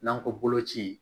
N'an ko bolo ci